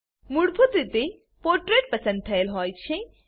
મૂળભૂત રીતે પોર્ટ્રેટ પસંદ થયેલ હોય છે